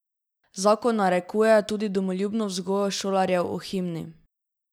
Zakon narekuje tudi domoljubno vzgojo šolarjev o himni.